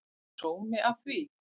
Er sómi af því?